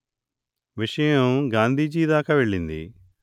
విషయం గాంధీజీ దాకా వెళ్ళింది